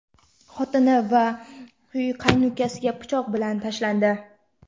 xotini va qaynukasiga pichoq bilan tashlandi.